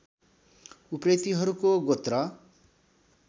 उप्रेतीहरूको गोत्र